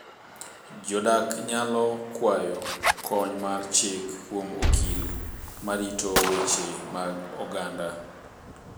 Jodak nyalo kwayo kony mar chik kuom okil ma rito weche mag oganda.